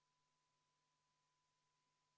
Juhtivkomisjoni seisukoht on jätta see arvestamata.